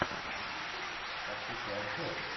пошукай обзор